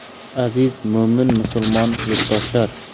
Aziz mo‘min-musulmon yurtdoshlar!